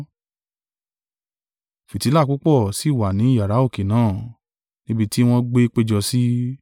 Fìtílà púpọ̀ sì wà ní iyàrá òkè náà, níbi tí wọn gbé péjọ sí.